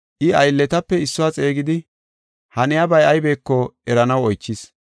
I, aylletape issuwa xeegidi haniyabay aybeko eranaw oychis.